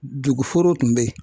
Dugu foro tun bɛ yen